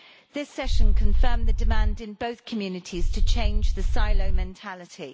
This session confirmed the demand in both communities to change the silo mentality.